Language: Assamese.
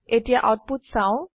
এতিয়া আউটপুট চাও